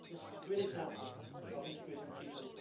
This is a great example of integrating people.